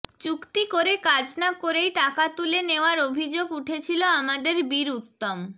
চুক্তি করে কাজ না করেই টাকা তুলে নেওয়ার অভিযোগ উঠেছিল আমাদের বীরউত্তম